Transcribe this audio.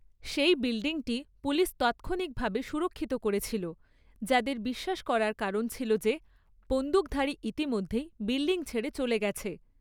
সেই বিল্ডিংটি পুলিস তাৎক্ষণিকভাবে সুরক্ষিত করেছিল, যাদের 'বিশ্বাস করার কারণ' ছিল যে বন্দুকধারী ইতিমধ্যেই বিল্ডিং ছেড়ে চলে গেছে।